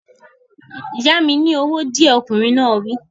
Yá mi ní owó díẹ̀, ọkùnrin náà wí